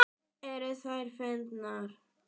Lítið í eigin barm.